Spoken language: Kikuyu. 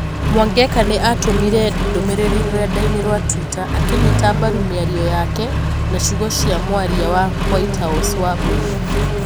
Mwangeka nĩ atũmire ndũmĩrĩri rurenda-inĩ rwa twitter akĩnyita mbaru mĩario yake na ciugo cia mwaria wa White House, Wambui.